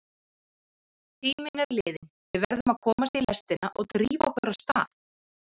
Tíminn er liðinn, við verðum að komast í lestina og drífa okkur af stað.